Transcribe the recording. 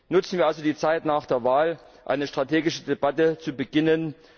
Nutzen wir also die Zeit nach der Wahl, um eine strategische Debatte zu beginnen.